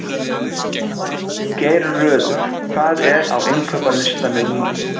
Geirröður, hvað er á innkaupalistanum mínum?